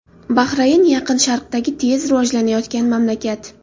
Bahrayn Yaqin Sharqdagi tez rivojlanayotgan mamlakat.